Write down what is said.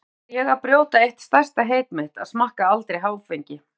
Að auki var ég að brjóta eitt stærsta heit mitt, að smakka aldrei áfengi.